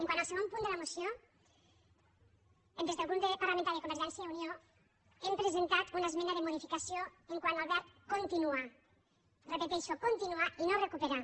quant al segon punt de la moció des del grup parlamentari de convergència i unió hem presentat una esmena de modificació quant al verb continuar repeteixo continuar i no recuperar